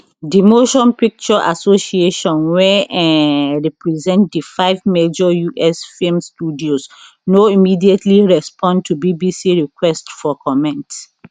di motion picture association wey um represent di five major us film studios no immediately respond to bbc requests for comment